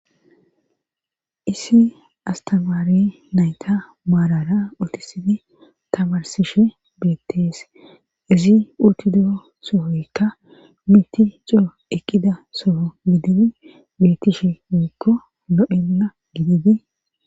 issi astamaari nayta maarara utisidi tabarsishe beettees izi urtido sohoykka miti coo eqqida soho gididi beettishe miikko no7enna gididi